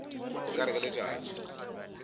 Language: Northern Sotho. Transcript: o ka re ke letšatši